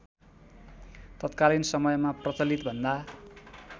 तत्कालीन समयमा प्रचलितभन्दा